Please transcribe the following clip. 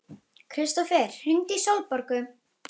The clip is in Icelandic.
Kristófer, hringdu í Sólborgu.